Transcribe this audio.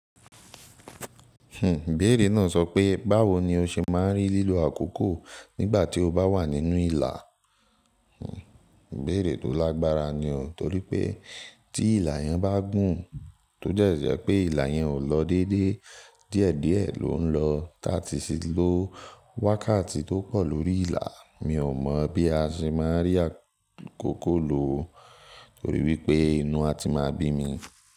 Hmm béèrè náà sọ pé báwo ni o ṣe máa ń rí lílo àkókò nígbà tí o bá wà nínú ìlà? Hmm ibéèrè tó lágbára ni o torí pé tí ìlà yẹn bá gùn tó jẹ̀ẹ́ jẹ́ pé ìlà yẹn ò lọ déédéé díẹ̀díẹ̀ ló ń lọ táti ṣe ló wákàtí tó pọ̀ lórí ìlà mi ò mọ̀ bí a ṣe máa rí àkókò lò torí wípé inú a ti máa bín mi.